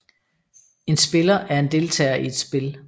En spiller er en deltager i et spil